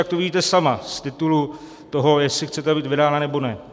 Jak to vidíte sama z titulu toho, jestli chcete být vydána, nebo ne?